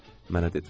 Mənə dedilər.